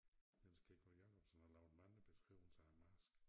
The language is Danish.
Niels Kingo Jacobsen har lavet mange beskriver af æ marsk